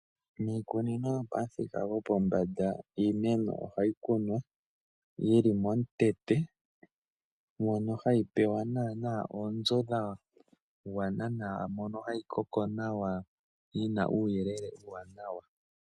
Miikunino yopamuthika gwopombanda iimeno ohayi kunwa yili momusholondondo mono hayi pewa naanaa onzo nawa dha gwana nawa , mono hayi koko nawa yina uuyelele wa gwana nawa.